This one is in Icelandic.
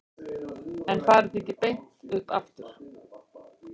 En farið þið ekki beint upp aftur?